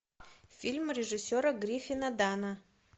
фильм режиссера гриффина данна